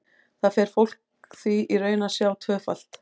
Þar fer fólk því í raun að sjá tvöfalt.